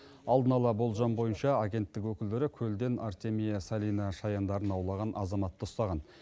алдын ала болжам бойынша агенттік өкілдері көлден артемия салина шаяндарын аулаған азаматты ұстаған